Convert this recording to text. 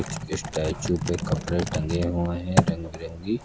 कुछ स्टैचू पे कपड़े टंगे हुए हैं रंग बिरंगी।